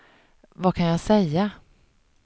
vad kan jag säga